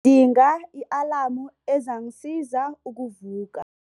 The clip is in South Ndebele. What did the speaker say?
Ngidinga i-alamu ezangisiza ukuvuka.